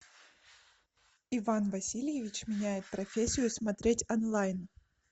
иван васильевич меняет профессию смотреть онлайн